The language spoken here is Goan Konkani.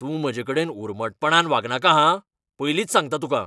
तूं म्हजेकडेन उर्मटपणान वागनाका हां, पयलींच सांगता तुका.